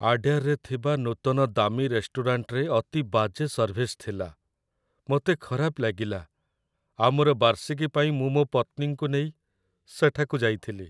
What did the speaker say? ଆଡୟାରରେ ଥିବା ନୂତନ ଦାମୀ ରେଷ୍ଟୁରାଣ୍ଟରେ ଅତି ବାଜେ ସର୍ଭିସ ଥିଲା, ମୋତେ ଖରାପ ଲାଗିଲା, ଆମର ବାର୍ଷିକୀ ପାଇଁ ମୁଁ ମୋ ପତ୍ନୀଙ୍କୁ ନେଇ ସେଠାକୁ ଯାଇଥିଲି।